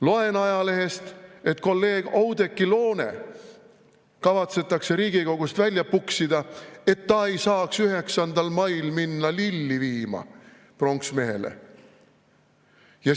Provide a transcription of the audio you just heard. Loen ajalehest, et kolleeg Oudekki Loone kavatsetakse Riigikogust välja puksida, et ta ei saaks 9. mail minna pronksmehe juurde lilli viima.